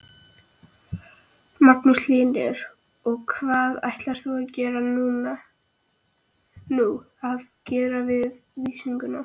Magnús Hlynur: Og hvað ætlar þú að gera við kvíguna?